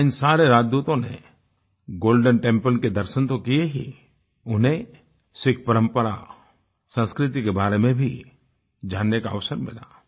वहां इन सारे राजदूतों ने गोल्डेन टेम्पल के दर्शन तो किये ही उन्हें सिख परम्परा और संस्कृति के बारे में भी जानने का अवसर मिला